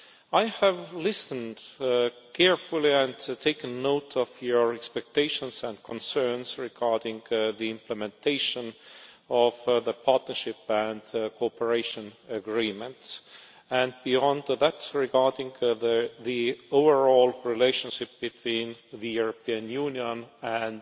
I have listened carefully and taken note of the Members' expectations and concerns regarding the implementation of the partnership and cooperation agreement and, beyond that, regarding the overall relationship between the European Union and